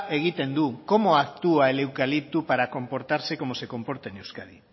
egiten du cómo actúa el eucalipto para comportase cómo se comporta en euskadi